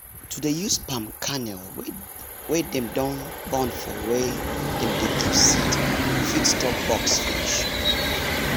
to dey use palm kernel wey dem don burn for wer dem dey keep seed fit stop bugs finish